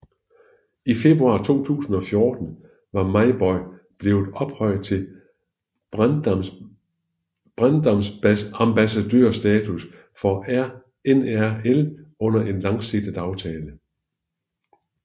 I februar 2014 var Mauboy blevet ophøjet til brandambassadørstatus for NRL under en langsigtet aftale